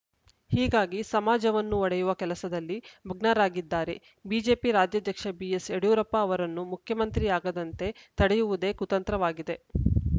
ಹೀಗಾಗಿ ಸಮಾಜವನ್ನು ಒಡೆಯುವ ಕೆಲಸದಲ್ಲಿ ಮಗ್ನರಾಗಿದ್ದಾರೆ ಬಿಜೆಪಿ ರಾಜ್ಯಾಧ್ಯಕ್ಷ ಬಿಎಸ್‌ಯಡಿಯೂರಪ್ಪ ಅವರನ್ನು ಮುಖ್ಯಮಂತ್ರಿಯಾಗದಂತೆ ತಡೆಯುವುದೇ ಕುತಂತ್ರವಾಗಿದೆ